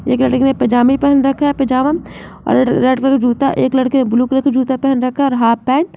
एक लड़के ने पजामा पहन रखा है पजामा और रेड रेड कलर का जूता। एक लड़के ने ब्लू कलर का जूता पहन रखा है और हाफ पैंट ।